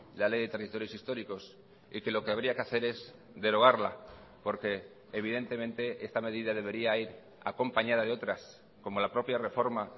la ley de territorios históricos y que lo que habría que hacer es derogarla porque evidentemente esta medida debería ir acompañada de otras como la propia reforma